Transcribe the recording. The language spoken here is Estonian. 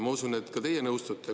Ma usun, et ka teie nõustute.